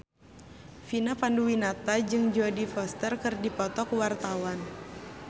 Vina Panduwinata jeung Jodie Foster keur dipoto ku wartawan